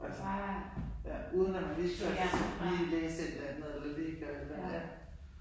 Altså, ja uden at man virkelig lige læse et eller andet eller lige gøre et eller andet ja